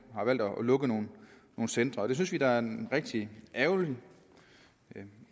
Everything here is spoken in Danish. har valgt at lukke nogle centre det synes vi da er en rigtig ærgerlig